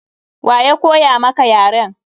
Wa ya koya maka yaren?